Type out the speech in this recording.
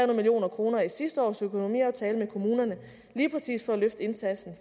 million kroner i sidste års økonomiaftale med kommunerne lige præcis for at løfte indsatsen